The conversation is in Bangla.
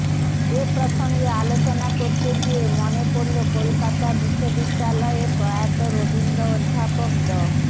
এ প্রসঙ্গে আলোচনা করতে গিয়ে মনে পড়লো কলকাতা বিশ্ববিদ্যালয়ের প্রয়াত রবীন্দ্র অধ্যাপক ড